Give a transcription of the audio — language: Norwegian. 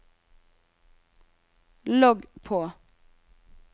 logg på